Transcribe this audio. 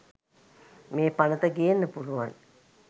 මේ පනත ගේන්න පුලුවන්